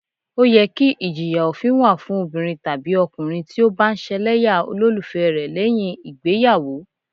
Ó yẹ kí ìjìyà òfin wà fún obìnrin tàbí ọkùnrin tí ó bá ń ṣẹlẹ́yà olólùfẹ́ rẹ lẹ́yìn ìgbéyàwó